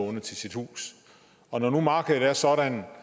låne til sit hus og når nu markedet er sådan